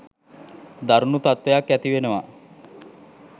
දරුණු තත්වයක් ඇතිවෙනවා